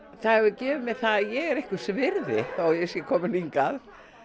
það hefur gefið mér það að ég er einhvers virði þó að ég sé komin hingað